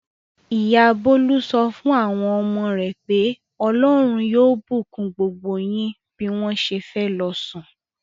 Ìyá Bólú sọ fún àwọn ọmọ rẹ̀ pé "Ọlọ́run yóò bùkún gbogbo yín" bí wọ́n ṣe fẹ́ lọ sùn.